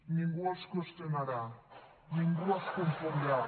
ningú els qüestionarà ningú es confondrà